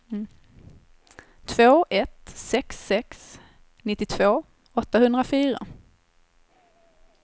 två ett sex sex nittiotvå åttahundrafyra